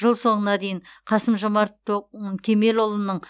жыл соңына дейін қасым жомарт то кемелұлының